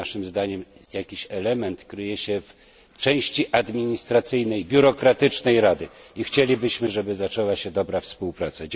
Naszym więc zdaniem jakiś element kryje się w części administracyjnej, biurokratycznej Rady i chcielibyśmy, żeby rozpoczęła się dobra współpraca.